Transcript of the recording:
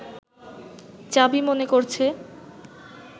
চাবি মনে করছে